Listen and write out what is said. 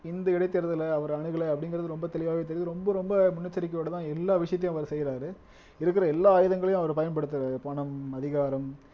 இந்த இடைத்தேர்தலை அவர் அணுகலை அப்படிங்கிறது ரொம்ப தெளிவாவே தெரியுது ரொம்ப ரொம்ப முன்னெச்சரிக்கையோடதான் எல்லா விஷயத்தையும் அவர் செய்யறாரு இருக்கிற எல்லா ஆயுதங்களையும் அவர் பயன்படுத்தறாரு பணம் அதிகாரம்